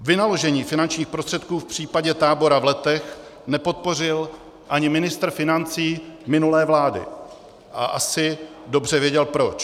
Vynaložení finančních prostředků v případě tábora v Letech nepodpořil ani ministr financí minulé vlády a asi dobře věděl proč.